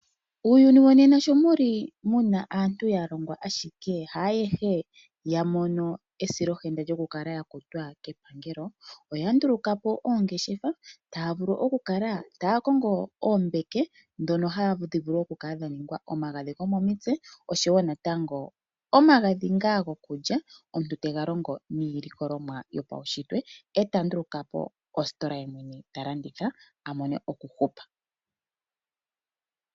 Uuyuni wonena shomuli muna aantu yalongwa ashike haayehe yamono esilohenda lyokukala yakutwa kepangelo, oyandulukapo oongeshefa taya vulu okukala taya kongo oombeke dhono hadhi vulu okukala dhaningwa omagadhi gomomutse oshowo natango omagadhi nga gokulya omuntu tegalongo miilikolomwa yopawunshitwe e tandulukapo ositola yemwene talanditha avule okuhupa.